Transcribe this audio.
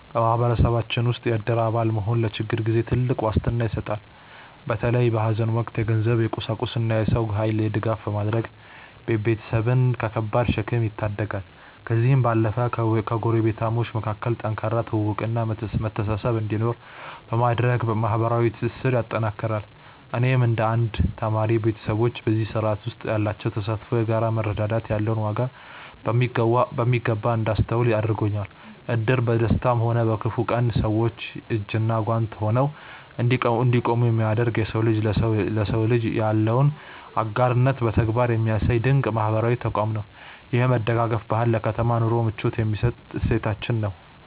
በማህበረሰባችን ውስጥ የእድር አባል መሆን ለችግር ጊዜ ትልቅ ዋስትና ይሰጣል። በተለይ በሐዘን ወቅት የገንዘብ፣ የቁሳቁስና የሰው ኃይል ድጋፍ በማድረግ ቤተሰብን ከከባድ ሸክም ይታደጋል። ከዚህም ባለፈ በጎረቤታሞች መካከል ጠንካራ ትውውቅና መተሳሰብ እንዲኖር በማድረግ ማህበራዊ ትስስርን ያጠናክራል። እኔም እንደ አንድ ተማሪ፣ ቤተሰቦቼ በዚህ ስርዓት ውስጥ ያላቸው ተሳትፎ የጋራ መረዳዳት ያለውን ዋጋ በሚገባ እንዳስተውል አድርጎኛል። እድር በደስታም ሆነ በክፉ ቀን ሰዎች እጅና ጓንት ሆነው እንዲቆሙ የሚያደርግ፣ የሰው ልጅ ለሰው ልጅ ያለውን አጋርነት በተግባር የሚያሳይ ድንቅ ማህበራዊ ተቋም ነው። ይህ የመደጋገፍ ባህል ለከተማ ኑሮ ምቾት የሚሰጥ እሴታችን ነው።